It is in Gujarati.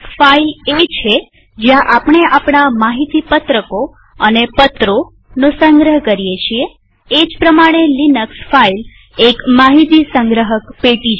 ફાઈલ એ છે જ્યાં આપણે આપણા માહિતી પત્રકોડોક્યુમેન્ટ્સ અને પત્રોપેપર્સનો સંગ્રહ કરીએ છીએએ જ પ્રમાણે લિનક્સ ફાઈલ એક માહિતી સંગ્રહક પેટી છે